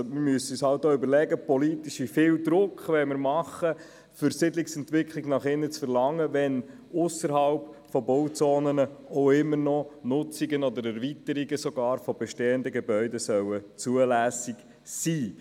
Wir müssen uns politisch überlegen, wie viel Druck wir im Bereich Siedlungsentwicklung nach innen machen wollen, wenn ausserhalb von Bauzonen immer noch Nutzungen oder sogar Erweiterungen von bestehenden Gebäuden zulässig sein sollen.